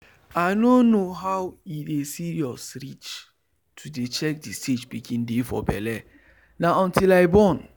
i nor know how e dey serious reach to dey check the stage pikin dey for belle na until i born.